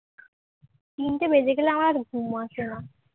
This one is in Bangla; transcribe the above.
তিনটে বেজে গেলে আমার আর ঘুম আসে না